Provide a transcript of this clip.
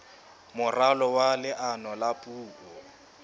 moralo wa leano la puo